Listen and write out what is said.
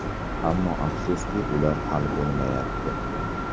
Ammo, afsuski, ular hal bo‘lmayapti.